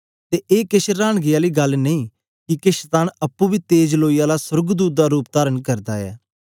ते ए केछ रांनगी आली गल्ल नेई किके शतान अप्पुं बी तेज लोई आला सोर्गदूत दा रूप तारण करदा ऐ